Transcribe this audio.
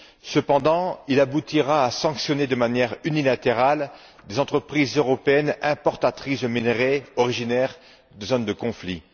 Cependant, il aboutira à sanctionner de manière unilatérale des entreprises européennes importatrices de minerais originaires de zones de conflit.